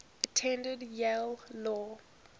attended yale law